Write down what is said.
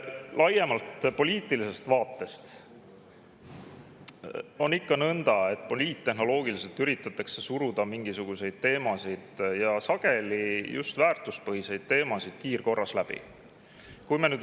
Laiemalt poliitilisest vaatest võttes on ikka nõnda, et poliittehnoloogiliselt üritatakse suruda mingisuguseid teemasid, sageli just väärtuspõhiseid teemasid kiirkorras läbi.